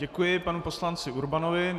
Děkuji panu poslanci Urbanovi.